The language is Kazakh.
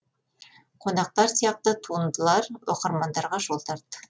қонақтар сияқты туындылар оқырмандарға жол тартты